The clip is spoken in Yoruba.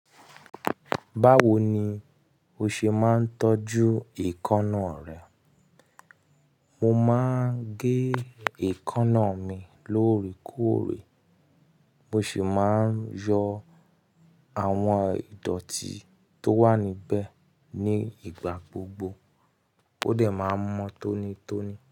Báwo ni o ṣe máa ń tọ́jú èékánná rẹ? Mo máa ń gé èékánná mi lóòrèkóòrè, mo sì máa ń yọ àwọn ìdọ̀tí tó wà níbẹ̀ ní ìgbà gbogbo. Ó dẹ̀ máa mọ́ tónítóní.